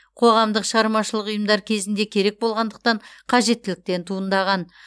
қоғамдық шығармашылық ұйымдар кезінде керек болғандықтан қажеттіліктен туындаған